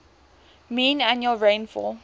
mean annual rainfall